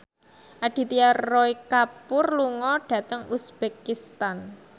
Aditya Roy Kapoor lunga dhateng uzbekistan